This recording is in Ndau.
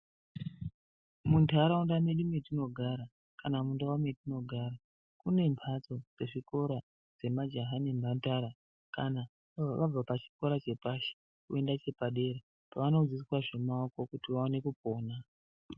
Muntaraunda mwedu metinogara kana mundau metinogara, mune mbatso-zvikora dzemajaha nemhandara. Kana vabva pachikora chepashi, voenda chepadera pavanodzidziswa zvemaoko kuti vawane kupona.